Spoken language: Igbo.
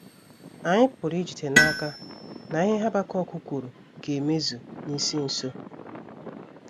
Anyị pụrụ ijide n’aka na ihe Habakuk kwuru ga - emezu n’isi nso.